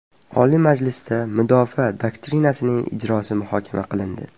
Oliy Majlisda Mudofaa doktrinasining ijrosi muhokama qilindi.